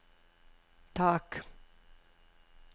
tak